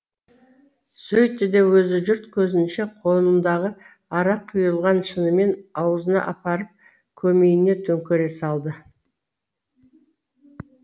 сөйтті де өзі жұрт көзінше қолындағы арақ құйылған шынымен аузына апарып көмейіне төңкере салды